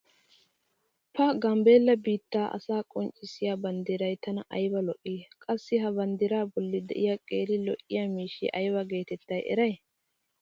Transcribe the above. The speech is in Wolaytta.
Pa Gambeella biittaa asaa qonccissiya banddiray tana aybba lo'ii! qassi ha bandiraa boli diya qeeri lo'iya miishshiya aybba geetetta erettay?